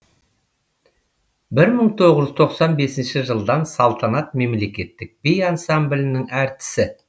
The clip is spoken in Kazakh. бір мың тоғыз жүз тоқсан бесінші жылдан салтанат мемлекеттік би ансамблінің әртісі